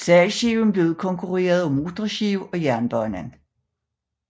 Sejlskibene blev udkonkurreret af motorskibe og jernbane